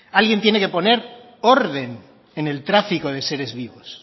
alguien tiene que poner orden en el tráfico de seres vivos